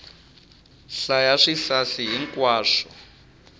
hlaya swisasi hi nkwaswo